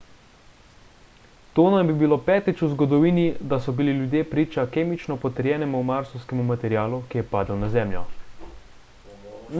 to naj bi bilo petič v zgodovini da so bili ljudje priča kemično potrjenemu marsovskemu materialu ki je padel na zemljo